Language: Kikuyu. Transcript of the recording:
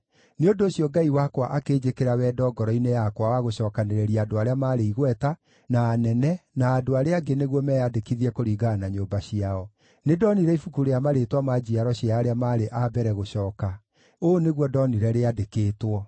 Nĩ ũndũ ũcio Ngai wakwa akĩnjĩkĩra wendo ngoro-inĩ yakwa wa gũcookanĩrĩria andũ arĩa maarĩ igweta, na anene, na andũ arĩa angĩ nĩguo meyandĩkithie kũringana na nyũmba ciao. Nĩndonire ibuku rĩa marĩĩtwa ma njiaro cia arĩa maarĩ a mbere gũcooka. Ũũ nĩguo ndonire rĩandĩkĩtwo: